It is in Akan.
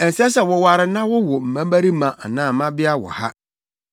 “Ɛnsɛ sɛ woware na wowo mmabarima anaa mmabea wɔ ha.”